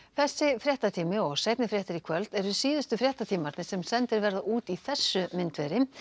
þessi fréttatími og seinni fréttir í kvöld eru síðustu fréttatímarnir sem sendir verða út í þessu myndveri